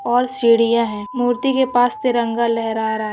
और सिंड़ीया है मूर्ति के पास तिरंगा लहरा रा--